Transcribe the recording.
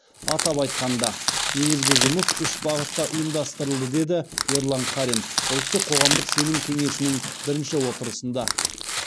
атап айтқанда негізгі жұмыс үш бағытта ұйымдастырылды деді ерлан қарин ұлттық қоғамдық сенім кеңесінің бірінші отырысында